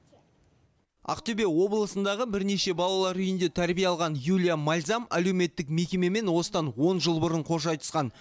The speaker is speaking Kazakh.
ақтөбе облысындағы бірнеше балалар үйінде тәрбие алған юлия мальзам әлеуметтік мекемемен осыдан он жыл бұрын қош айтысқан